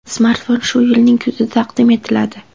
Smartfon shu yilning kuzida taqdim etiladi.